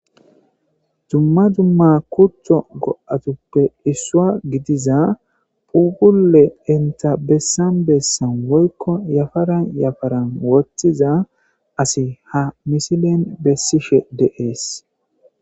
dumma dumma kutho go7atuppe issua gidiza pugule enta bessan bessan woykko yafaran yafaran wothiza asi ha misilen bessishe deees